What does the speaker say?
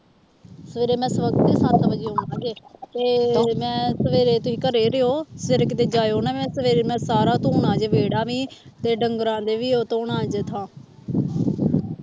ਸਵੇਰੇ ਮੈਂ ਸਵੱਖਤੇ ਸੱਤ ਵਜੇ ਤੇ ਮੈਂ ਸਵੇਰੇ ਤੁਸੀਂ ਘਰੇ ਰਹਿਓ ਸਵੇਰੇ ਕਿਤੇ ਜਾਇਓ ਨਾ ਮੈਂ ਸਵੇਰੇ ਮੈਂ ਸਾਰਾ ਧੋਣਾ ਜੇ ਵਿਹੜੀ ਵੀ ਤੇ ਡੰਗਰਾਂ ਦੇ ਵੀ ਉਹ ਧੋਣਾ ਜੇ ਥਾਂ